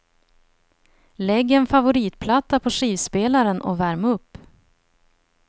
Lägg en favoritplatta på skivspelaren och värm upp.